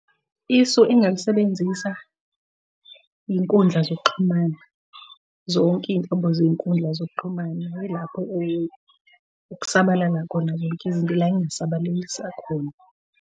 Isu engingalisebenzisa, iy'nkundla zokuxhumana, zonke iy'nhlobo zey'nkundla zokuxhumana ilapho okusabalala khona zonke izinto la engingay'sabalalisa khona.